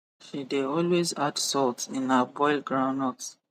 she de always add salt in her boil groundnut